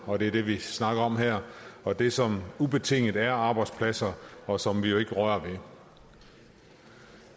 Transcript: og det er det vi snakker om her og det som ubetinget er arbejdspladser og som vi jo ikke rører